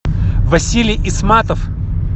василий исматов